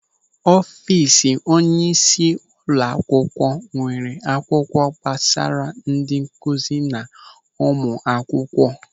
Ọfiisi onyeisi ụlọakwụkwọ nwere akwụkwọ gbasara ndị nkụzi na ụmụ akwụkwọ.